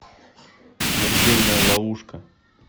смертельная ловушка